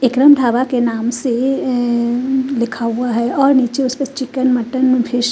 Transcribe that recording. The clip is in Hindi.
इकरम ढाबा के नाम एम लिखा हुआ है और निचे उसके चिकन मटन फिश --